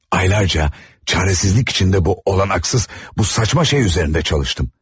Aylarca çaresizlik içinde bu olanaksız, bu saçma şey üzərində çalıştım.